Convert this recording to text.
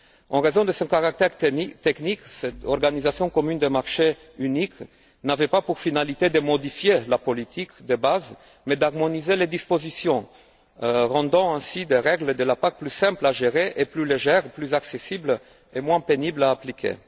En raison de son caractère technique, cette organisation commune des marchés unique n'avait pas pour finalité de modifier la politique de base mais d'harmoniser les dispositions, rendant ainsi les règles de la PAC plus simples à gérer et plus légères, plus accessibles et moins pénibles à appliquer.